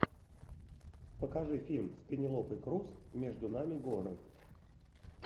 покажи фильм с пенелопой крус между нами горы